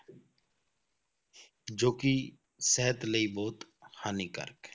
ਜੋ ਕਿ ਸਿਹਤ ਲਈ ਬਹੁਤ ਹਾਨੀਕਾਰਕ ਹੈ।